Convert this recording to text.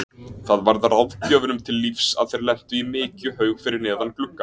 Það varð ráðgjöfunum til lífs að þeir lentu í mykjuhaug fyrir neðan gluggann.